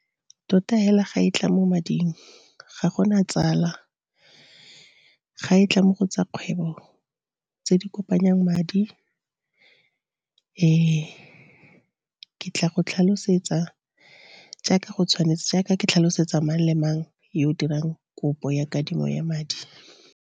Tota hela ga e tla mo mading ga gona tsala. Ga e tla mo go tsa kgwebo tse di kopanyang madi, ke tla go tlhalosetsa jaaka go tshwanetse, jaaka ke tlhalosetsa mang le mang yo o dirang kopo ya kadimo ya madi.